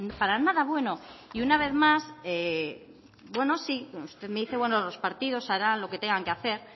para nada bueno y una vez más bueno sí usted me dice los partidos harán lo que tengan que hacer